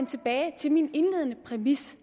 tilbage til min indledende præmis